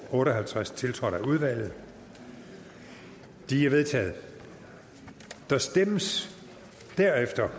otte og halvtreds tiltrådt af udvalget de er vedtaget der stemmes derefter